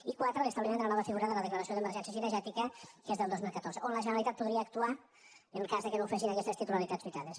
i quatre l’establiment de la nova figura de la declaració d’emergència cinegètica que és del dos mil catorze on la generalitat podria actuar en cas que no ho fessin aquestes titularitats citades